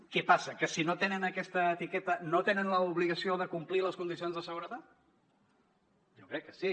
què passa que si no tenen aquesta etiqueta no tenen l’obligació de complir les condicions de seguretat jo crec que sí